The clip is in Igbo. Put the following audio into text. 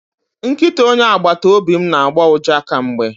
Nkịta onye agbata obi m na-agbọ ụja kemgbe